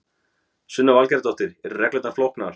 Sunna Valgerðardóttir: Eru reglurnar flóknar?